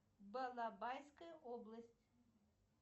балабайская область